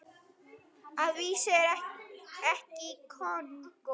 Að vísu ekki í Kongó.